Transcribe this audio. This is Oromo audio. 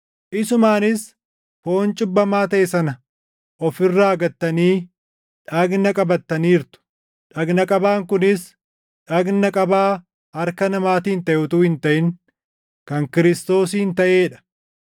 Isumaanis foon cubbamaa taʼe sana of irraa gattanii dhagna qabattaniirtu; dhagna qabaan kunis dhagna qabaa harka namaatiin taʼe utuu hin taʼin kan Kiristoosiin taʼee dha;